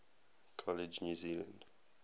college new zealand